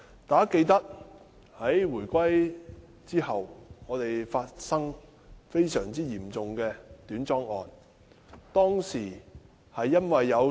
大家記得，在回歸後，我們發生非常嚴重的短樁事件。